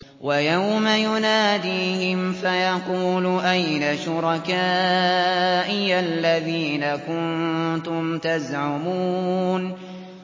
وَيَوْمَ يُنَادِيهِمْ فَيَقُولُ أَيْنَ شُرَكَائِيَ الَّذِينَ كُنتُمْ تَزْعُمُونَ